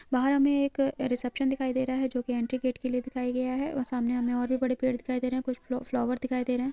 बाहर हमे एक रीसेप्शन दिखाई दे रहा है जो की एंट्री गेट के लिए दिखाया गया है और सामने और भी बड़े पेड़ दिखाई दे रहे हैं कुछ फ्लो-फ्लावर्स दिखाई दे रहे हैं।